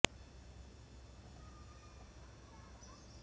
দেশের বিভিন্ন প্রান্ত থেকে আগ্রহী যুবকরা বনসাই সংগ্রহের পাশাপাশি বেকারত্ব ঘোচাতে